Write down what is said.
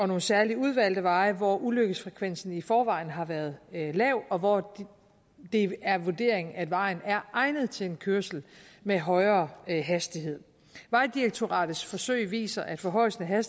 nogle særligt udvalgte veje hvor ulykkesfrekvensen i forvejen har været lav og hvor det er vurderingen at vejen er egnet til kørsel med højere hastighed vejdirektoratets forsøg viser at forhøjelsen af